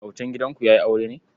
Autan gidanku ya yi aure ne?